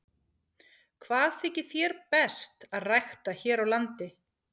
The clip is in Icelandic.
Hvað þykir þér best að rækta hér á landi?